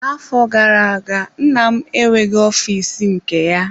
Na-afọ gara-aga nna m enweghị ọfịs nke ya.